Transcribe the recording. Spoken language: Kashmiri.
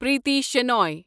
پریتی شنوٚے